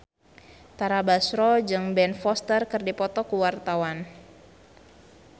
Tara Basro jeung Ben Foster keur dipoto ku wartawan